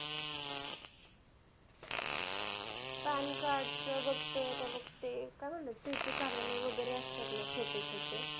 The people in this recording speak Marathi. PAN card चं बघ ते आता बघ ते. काय म्हणतात सेतू कार्यालय वगैरे असतात ना छोटे छोटे